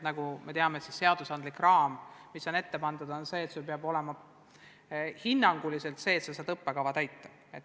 Nagu me teame, seadusandlik raam, mis on ette pandud, nõuab, et peab olema piisavalt õpetajaid, et kool saaks õppekava täita.